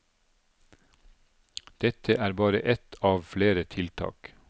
Dette er bare ett av flere tiltak.